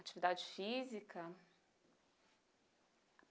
Atividade física?